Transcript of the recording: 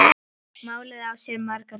Málið á sér margar hliðar.